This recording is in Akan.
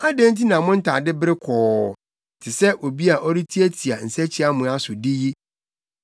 Adɛn nti na mo ntade bere kɔɔ, te sɛ obi a ɔretiatia nsakyiamoa so de yi?